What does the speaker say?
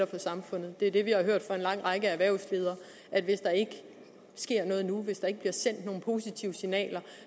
for samfundet det er det vi har hørt fra en lang række erhvervsledere hvis der ikke sker noget nu hvis der ikke bliver sendt nogle positive signaler